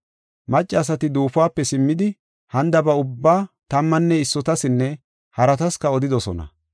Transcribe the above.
Maccasati duufuwape simmidi hanidaba ubbaa tammanne issotasinne haratasika odidosona.